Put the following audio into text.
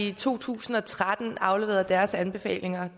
i to tusind og tretten afleverede deres anbefalinger